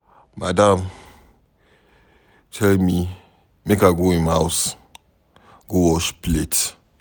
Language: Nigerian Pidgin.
Madam tell me make I go im house go wash plate.